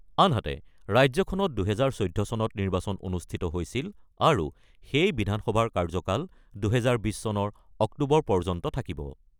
আনহাতে, ৰাজ্যখনত ২০১৪ চনত নিৰ্বাচন অনুষ্ঠিত হৈছিল আৰু সেই বিধানসভাৰ কাৰ্যকাল ২০২০ চনৰ অক্টোবৰ পৰ্যন্ত থাকিব।